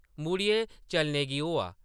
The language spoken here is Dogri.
मुड़ियै चलने गी होआ ।